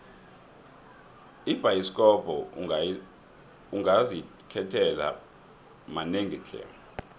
ebhayisikopo ungazikhethela manengi tle